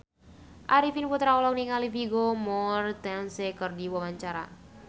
Arifin Putra olohok ningali Vigo Mortensen keur diwawancara